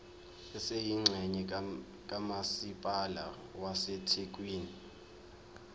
esiyingxenye kamasipala wasethekwini